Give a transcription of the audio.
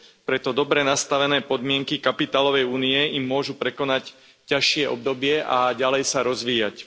Preto dobre nastavené podmienky kapitálovej únie im pomôžu prekonať ťažšie obdobie a ďalej sa rozvíjať.